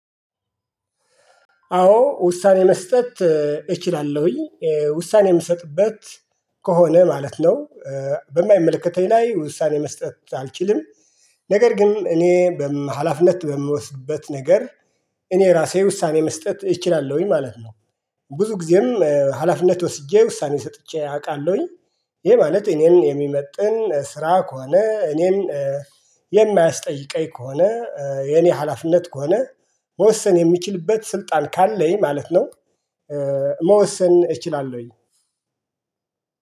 አዎ ውሳኔ መስጠት እችላለሁኝ ውሳኔ የምሰጥበት ከሆነ ማለት ነው። በማይመለከተኝ ላይ ውሳኔ መስጠት አልችልም። ነገር ግን እኔ ሀላፊነት በምወስድበት ነገር እኔ ራሴ ውሳኔ መስጠት እችላለሁኝ ማለት ነው። ብዙ ጊዜም ሀላፊነት ወስጄ ውሳኔ ሰጥቼ አውቃለሁኝ። ይሄ ማለት እኔን የሚመጥን ስራ ከሆነ እኔም የማያስጠይቀኝ ከሆነ የኔ ሀላፍነት ከሆነ መወሰን የሚችልበት ስልጣን ካለኝ ማለት ነው። መወሰን እችላለሁኝ